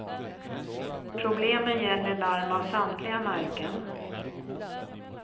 Problemen gäller larm av samtliga märken.